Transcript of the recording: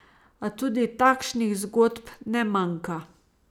A tudi takšnih zgodb ne manjka.